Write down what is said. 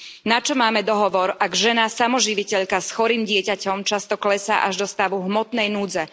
Načo máme dohovor, ak žena, samoživiteľka, s chorým dieťaťom, často klesá až do stavu hmotnej núdze.